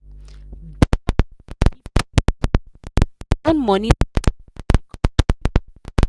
because she dey give people too much her own money scatter and she come dey regret.